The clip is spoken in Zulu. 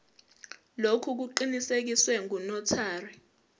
lokhu kuqinisekiswe ngunotary